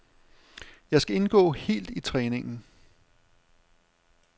Jeg skal indgå helt i træningen.